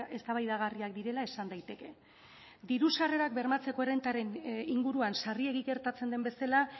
eztabaidagarriak direla esan daiteke diru sarrerak bermatzeko errentaren inguruan sarriegi gertatzen den bezala